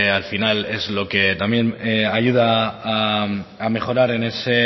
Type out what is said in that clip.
al final también ayuda a mejorar